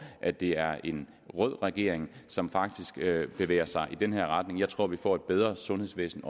at det er en rød regering som faktisk bevæger sig i den her retning jeg tror vi får et bedre sundhedsvæsen